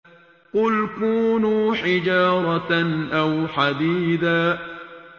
۞ قُلْ كُونُوا حِجَارَةً أَوْ حَدِيدًا